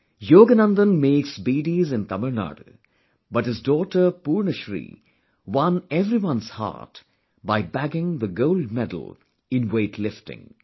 Yogananthanmakesbeedis in Tamil Nadu, but his daughter Purnashree won everyone's heart by bagging the Gold Medal in Weight Lifting